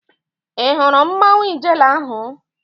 Ị hụrụ mmanwu Ijele ahụ?